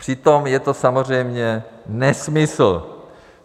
Přitom je to samozřejmě nesmysl.